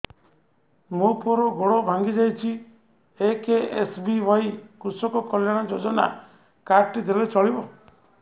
ମୋ ପୁଅର ଗୋଡ଼ ଭାଙ୍ଗି ଯାଇଛି ଏ କେ.ଏସ୍.ବି.ୱାଇ କୃଷକ କଲ୍ୟାଣ ଯୋଜନା କାର୍ଡ ଟି ଦେଲେ ଚଳିବ